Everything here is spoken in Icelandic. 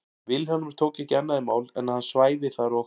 Vilhjálmur tók ekki annað í mál en að hann svæfi þar og